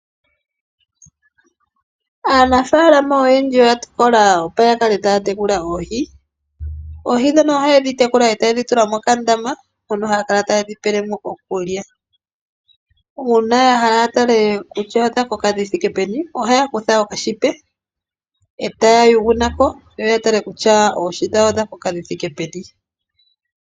Aanafaalama oyendji oya tokola opo yakale taya tekula oohi. Oohi ohaye dhi tekulile mokandama moka haya kala tayedhi pele mo okulya. Uuna yahala yatale kutya odha koka dhithike peni ohaya kutha okanete etaya yugu nako yatale kutya oohi dhawo odhakoka dhithike peni.